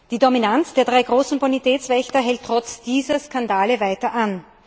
Die Dominanz der drei großen Bonitätswächter hält trotz dieser Skandale weiter an.